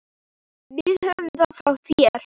Við höfum það frá þér!